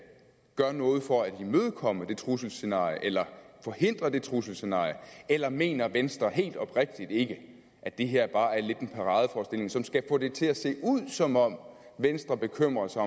gør noget for at imødekomme det trusselsscenarie eller forhindre det trusselsscenarie eller mener venstre helt oprigtigt ikke at det her bare lidt er en paradeforestilling som skal få det til at se ud som om venstre bekymrer sig